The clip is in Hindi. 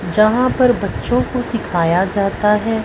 यहां पर बच्चों को सिखाया जाता है।